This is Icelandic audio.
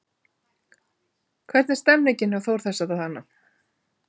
Hvernig er stemningin hjá Þór þessa dagana?